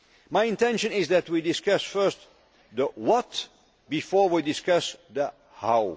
measures. My intention is that we discuss first the what' before we discuss